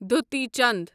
دوتی چند